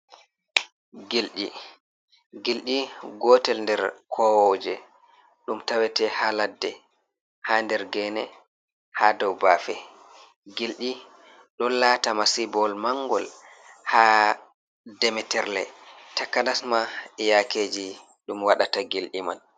Gilƴi, Gilƴi gotel nder kowoje ɗum tawete ha ladde ha nder gene ha nder bafe, gilɗi ɗo lata masibowol manngol ha demitirle takanas ma e yakeji ɗum waɗata gilɗi man.